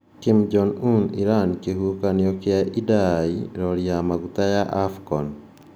Kim Jong Un, Iran, kĩhuhũkanio kĩa Idai, rori ya maguta na Afcon